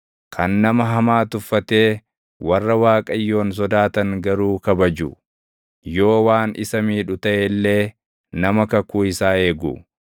kan nama hamaa tuffatee warra Waaqayyoon sodaatan garuu kabaju, yoo waan isa miidhu taʼe illee nama kakuu isaa eegu,